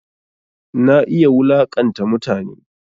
Na iya wulaƙanta mutane